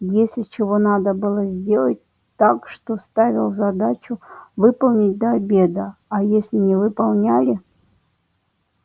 если чего надо было сделать так что ставил задачу выполнить до обеда а если не выполняли